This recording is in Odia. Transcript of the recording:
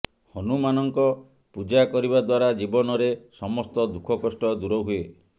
ହନୁମାନଙ୍କ ପୂଜା କରିବା ଦ୍ୱାରା ଜୀବନରେ ସମସ୍ତ ଦୁଃଖ କଷ୍ଟ ଦୂର ହୁଏ